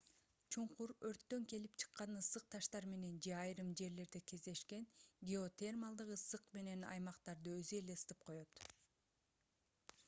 чуңкур өрттөн келип чыккан ысык таштар менен же айрым жерлерде кездешкен геотермалдык ысык менен аймактарды өзү эле ысытып коёт